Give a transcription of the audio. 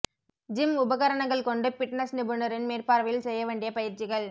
gym உபகரணங்கள் கொண்டு fitness நிபுணரின் மேற்பார்வையில் செய்ய வேண்டிய பயிற்சிகள்